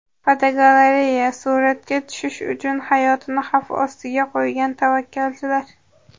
Fotogalereya: Suratga tushish uchun hayotini xavf ostiga qo‘ygan tavakkalchilar.